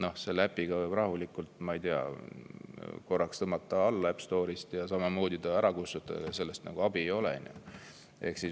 Aga selle äpi võib rahulikult korraks alla tõmmata App Store'ist ja siis samamoodi ära kustutada, sest ega sellest abi ei ole.